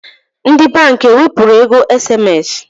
Ndi bank ewepuru ego SMS?